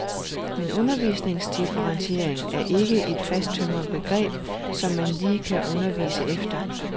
Men undervisningsdifferentiering er ikke et fasttømret begreb, som man lige kan undervise efter.